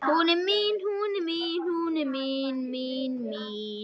Hún er mín, hún er mín, hún er mín, mín, mín.